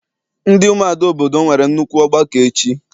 Ndị umuada obodo m nwere nnukwu ọgbakọ echi.